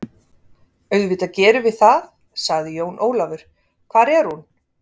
Auðvitað gerum við það, sagði Jón Ólafur, hvar er hún?